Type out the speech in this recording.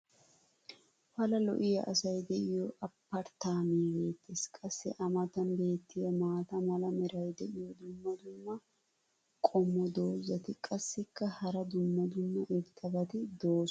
pala lo'iya asay diyo Apparttaamay beetees. qassi a matan beetiya maata mala meray diyo dumma dumma qommo dozzati qassikka hara dumma dumma irxxabati doosona.